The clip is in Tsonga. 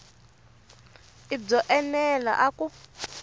i byo enela na ku